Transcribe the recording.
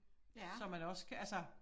Som man også kan altså